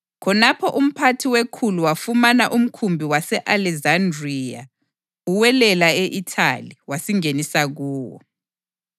Khonapho umphathi wekhulu wafumana umkhumbi wase-Alekizandriya uwelela e-Ithali, wasingenisa kuwo.